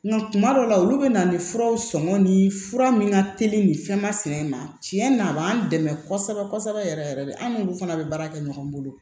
Nga kuma dɔw la olu be na ni furaw sɔŋɔni fura min ka teli nin fɛnmasina in na tiɲɛ na a b'an dɛmɛ kosɛbɛ kosɛbɛ yɛrɛ yɛrɛ de an n'olu fana bɛ baara kɛ ɲɔgɔn bolo